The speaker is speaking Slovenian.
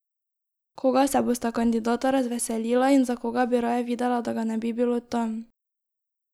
Koga se bosta kandidata razveselila in za koga bi raje videla, da ga ne bi bilo tam?